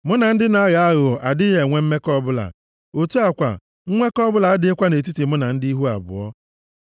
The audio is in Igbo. Mụ na ndị na-aghọ aghụghọ adịghị enwe mmekọ ọbụla. Otu a kwa, nnwekọ ọbụla adịghịkwa nʼetiti mụ na ndị ihu abụọ.